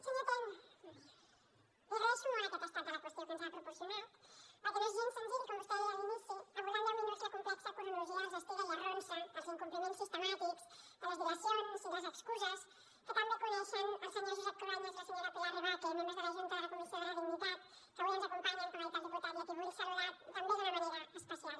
senyor ten li agraeixo molt aquest estat de la qüestió que ens ha proporcionat perquè no és gens senzill com vostè deia a l’inici abordar en deu minuts la complexa cronologia dels estira i arronses dels incompliments sistemàtics de les dilacions i les excuses que tan bé coneixen el senyor josep cruanyes i la senyora pilar rebaque membres de la junta de la comissió de la dignitat que avui ens acompanyen com ha dit el diputat i a qui vull saludar també d’una manera especial